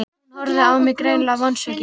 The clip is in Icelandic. Hún horfði á mig, greinilega vonsvikin.